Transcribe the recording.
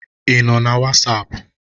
Ị nọ na Wasapu?